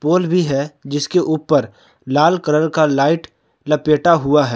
पोल भी है जिसके ऊपर लाल कलर का लाइट लपेटा हुआ है।